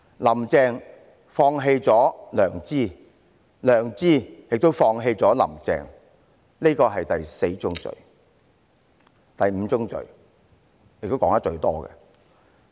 "林鄭"放棄了良知，良知亦放棄了"林鄭"，這是第四宗罪。